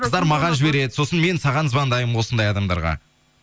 қыздар маған жібереді сосын мен саған звондаймын осындай адамдарға